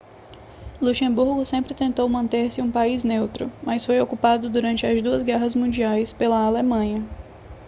luxemburgo sempre tentou manter-se um país neutro mas foi ocupado durante as duas guerras mundiais pela alemanha